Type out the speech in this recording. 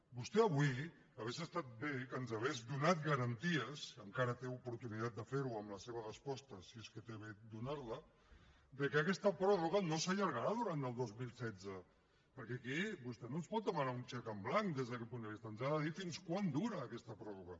vostè avui hauria estat bé que ens hagués donat garanties encara té oportunitat de fer ho amb la seva resposta si és que té a bé de donar la que aquesta pròrroga no s’allargarà durant el dos mil setze perquè aquí vostè no ens pot demanar un xec en blanc des d’aquest punt de vista ens ha de dir fins quan dura aquesta pròrroga